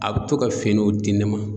A bɛ to ka finiw di ne ma.